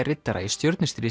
riddara í